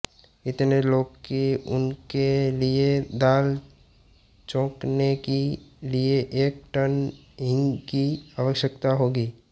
इतने लोग कि उनके लिए दाल छौकने के लिये एक टन हींग की आवश्यकता होगी